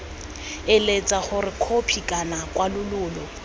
eletsa gore khopi kana kwalololo